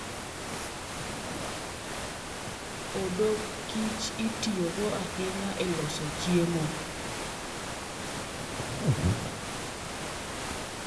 Odok kich itiyogo ahinya e loso chiemo.